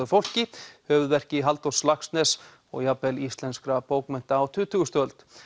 fólki höfuðverki Halldórs Laxness og jafnvel íslenskra bókmennta á tuttugustu öld